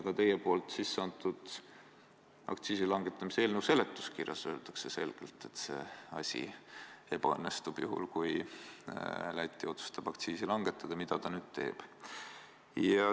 Ka teie aktsiisilangetamise seaduse eelnõu seletuskirjas öeldakse selgelt, et see asi ebaõnnestub juhul, kui ka Läti otsustab aktsiisi langetada, mida ta nüüd teeb.